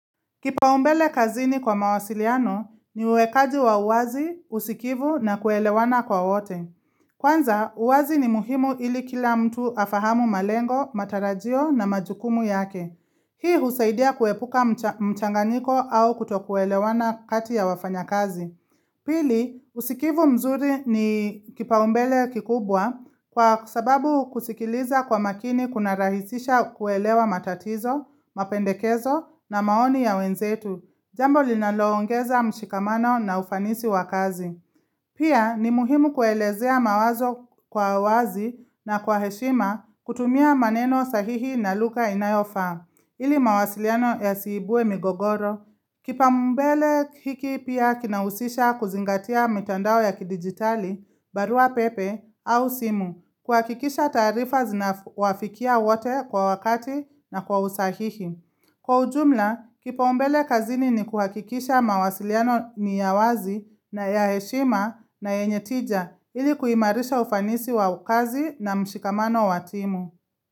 Kipaumbele kazini kwa mawasiliano ni uwekaji wa uwazi, usikivu na kuelewana kwa wote. Kwanza, uwazi ni muhimu ili kila mtu afahamu malengo, matarajio na majukumu yake. Hii husaidia kuepuka mchanganyiko au kuto kuelewana kati ya wafanyakazi. Pili, usikivu mzuri ni kipaumbele kikubwa kwa sababu kusikiliza kwa makini kuna rahisisha kuelewa matatizo, mapendekezo na maoni ya wenzetu. Jambo linaloongeza mshikamano na ufanisi wa kazi. Pia, ni muhimu kuelezea mawazo kwa wazi na kwa heshima kutumia maneno sahihi na lugha inayofaa. Ili mawasiliano yasiibue migogoro. Kipambele hiki pia kinahusisha kuzingatia mitandao ya kidigitali, barua pepe au simu, kuhakikisha taarifa zina wafikia wote kwa wakati na kwa usahihi. Kwa ujumla, kipaumbele kazini ni kuhakikisha mawasiliano ni ya wazi na ya heshima na yenye tija ili kuhimarisha ufanisi wa kazi na mshikamano wa timu.